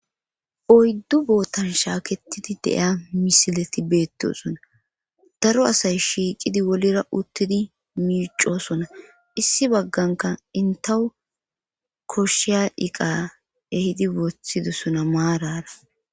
Oyddu bootan shaaketidi de'ya misileti beettosona daro asay shiiqidi wolira uttidi miicosona issi bagganka intawu koshshiya iqa ehidi wotidosona maarara.